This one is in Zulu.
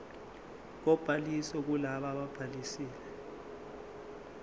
kobhaliso kulabo ababhalisile